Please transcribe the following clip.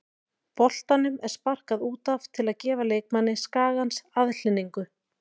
Boltanum er sparkað út af til að gefa leikmanni Skagans aðhlynningu.